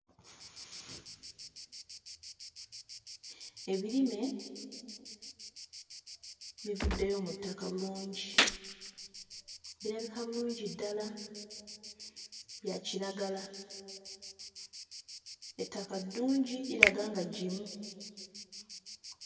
Ebirime bivuddeyo mu ttaka bulungi, birabika bulungi ddala bya kiragala, ettaka ddungi liraga nga ggimu.